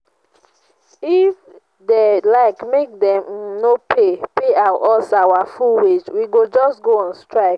if dey like make dem um no pay pay us our full wage we go just go on strike